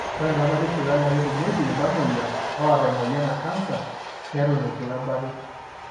ore entemata esipitali na ketumieki iltamoyia oata emoyian ecanser neton etu ebaaki.